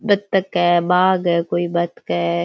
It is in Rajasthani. बतख है बाज है कोई --